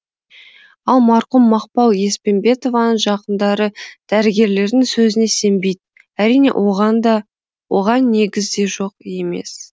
ал марқұм мақпал еспенбетованың жақындары дәрігерлердің сөзіне сенбейді әрине оған негіз де жоқ емес